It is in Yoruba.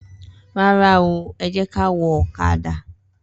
Rara o,ẹjekà wò òkàdà